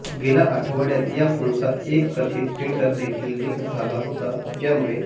गेल्या आठवड्यात या फोनचा एक कथित टेंडर देखील लीक झाला होता ज्यामुळे